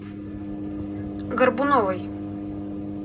горбуновой